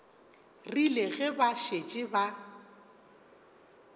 rile ge ba šetše ba